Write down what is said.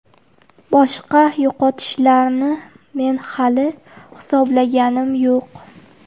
Boshqa yo‘qotishlarni men hali hisoblaganim yo‘q.